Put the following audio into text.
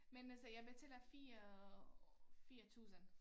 Men altså jeg betaler 4 4 tusind